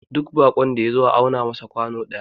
duk bakon da ya zo a auna masa kwano daya